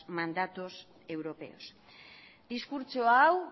mandatos europeos diskurtso hau